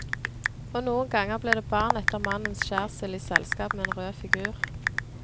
Og noen ganger ble det barn etter mannens skjærsild i selskap med en rød figur.